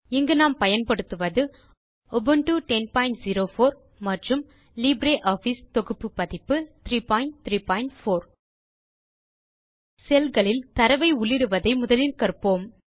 இங்கு நாம் பயன்படுத்துவது உபுண்டு 1004 மற்றும் லிப்ரியாஃபிஸ் தொகுப்பு பதிப்பு 334 cellகளில் தரவை உள்ளிடுவதை முதலில் கற்போம்